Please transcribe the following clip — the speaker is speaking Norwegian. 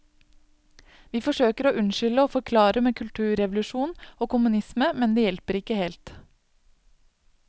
Vi forsøker å unnskylde og forklare med kulturrevolusjon og kommunisme, men det hjelper ikke helt.